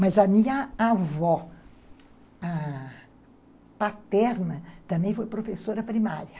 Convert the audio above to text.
Mas a minha avó, ãh... paterna também foi professora primária.